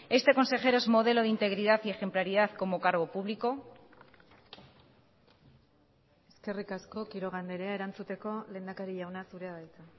este consejero es modelo de integridad y ejemplaridad como cargo público eskerrik asko quiroga andrea erantzuteko lehendakari jauna zurea da hitza